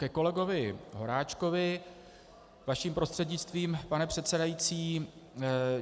Ke kolegovi Horáčkovi vaším prostřednictvím, pane předsedající.